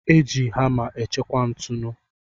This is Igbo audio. Eji hama e chekwa ntụnu.